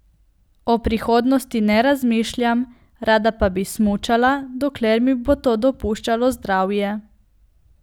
O prihodnosti ne razmišljam, rada pa bi smučala, dokler mi bo to dopuščalo zdravje.